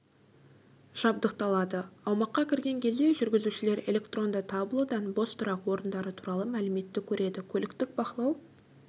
жабдықталады аумаққа кірген кезде жүргізушілер электронды таблодан бос тұрақ орындары туралы мәліметті көреді көліктік бақылау